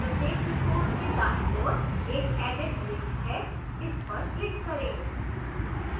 प्रत्येक resource के दाईं ओर एक edit link है इस पर click करें